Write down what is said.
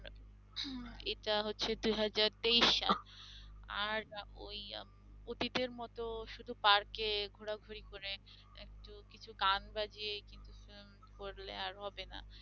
এটা হচ্ছে দুই হাজার তেইশ সাল আর ওই অতীতের মত শুধু পার্কে ঘোরাঘুরি করে একটু কিছু গান বাজিয়ে কিন্তু film করলে আর হবেনা